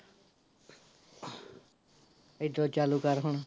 ਹੇਦਰੋਂ ਚਾਲੂ ਕਰ ਹੁਣ